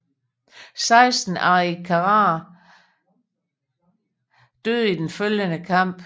Seksten arikaraer døde i den følgende kamp